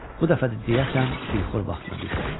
Bu dəfə də deyəsən dilxor vaxtına düşmüşdü.